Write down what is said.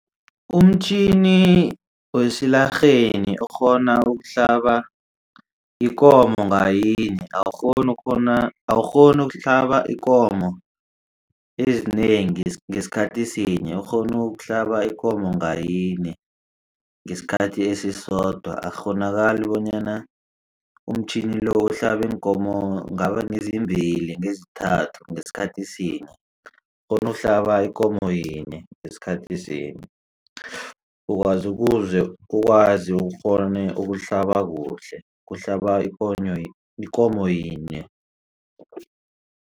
Umtjhini wesilarheni ukghona ukuhlaba ikomo nganyinye awukghoni ukuhlaba ikomo ezinengi ngesikhathi sinye ukghona ukuhlaba ikomo ngayinye ngesikhathi esisodwa. Akukghonakali bonyana umtjhini lo uhlabe iinkomo ngaba ngezimbili ngezithathu ngesikhathi sinye ukghona ukuhlaba ikomo yinye ngesikhathi sinye ukwazi ukuze ikghone ukuhlaba kuhle kuhlaba ikomo yinye.